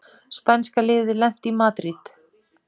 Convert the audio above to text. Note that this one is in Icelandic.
Spænska liðið lent í Madríd